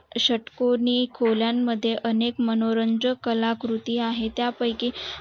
षट्कोनी खोलान मध्ये अनेक मनोरंजक काला कृती आहे त्यापाईकी